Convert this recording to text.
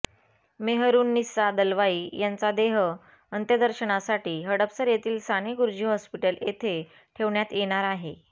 मेहरुन्निसा दलवाई यांचा देह अंत्यदर्शनासाठी हडपसर येथील साने गुरुजी हॉस्पिटल येथे ठेवण्यात येणार आहे